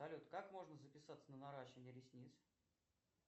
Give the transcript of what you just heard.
салют как можно записаться на наращивание ресниц